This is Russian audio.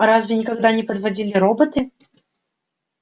разве никогда не подводили роботы